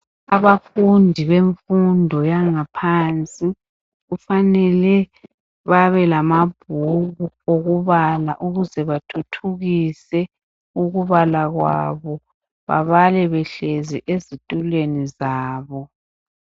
Abafundi bemfundo yangaphansi kufanele babe lamabhuku okubala ukuze bathuthukise ukubala kwabo babale behlezi ezitulweni zabo.